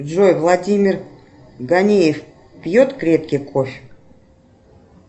джой владимир ганеев пьет крепкий кофе